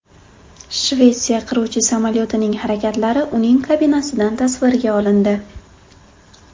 Shvetsiya qiruvchi samolyotining harakatlari uning kabinasidan tasvirga olindi .